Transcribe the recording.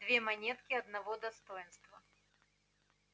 две монетки одного достоинства